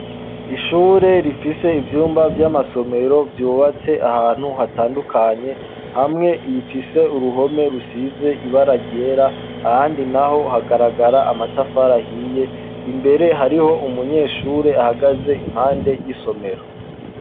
ishure rifise ivyumba vy'amasomero ryubatse ahantu hatandukanye hamwe bifise uruhome rusize ibara ryera ahandi naho hagaragara amatafari ahiye imbere hariho umunyeshure ahagaze impande y'isomero